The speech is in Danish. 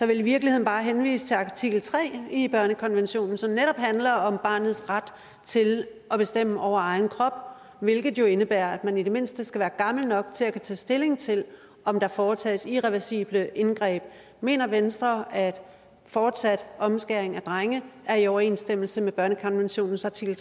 vil i virkeligheden bare henvise til artikel tre i børnekonventionen som netop handler om barnets ret til at bestemme over egen krop hvilket jo indebærer at man i det mindste skal være gammel nok til at kunne tage stilling til om der foretages irreversible indgreb mener venstre at fortsat omskæring af drenge er i overensstemmelse med børnekonventionens artikel